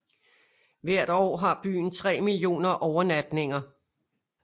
Hvert år har byen tre millioner overnatninger